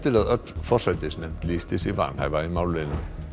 að öll forsætisnefnd lýsti sig vanhæfa í málinu